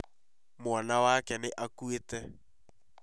Mwana wake nĩ akuĩte